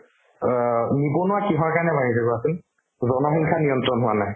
অ, নিবনুৱা কিহৰ কাৰণে হয় সেইটো কোৱাচোন জনসংখ্যা নিয়ন্ত্ৰণ হোৱা নাই